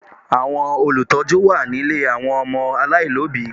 Àwọn Olùtọ́jú wà nílé àwọn ọmọ aláìlóbìí